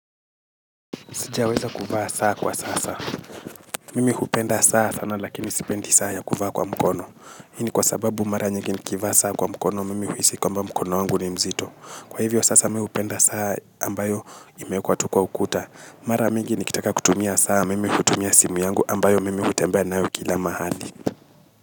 Sijiaweza kuvaa saa kwa sasa. Mimi hupenda saa sana lakini sipendi saa ya kuvaa kwa mkono. Hii ni kwa sababu mara nyingi nikivaa saa kwa mkono mimi huisi nikama mkono wangu ni mzito. Kwa hivyo sasa mihupenda saa ambayo ime kwa tu k s ukuta. Mara mingi nikitaka kutumia saa. Mimi hutumia simu yangu ambayo mimi hutembea na kila mahali.